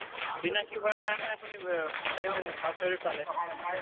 চিনাকি হোৱাৰ কাৰণে হে আপুনি অ তেওঁ birth certificate পালে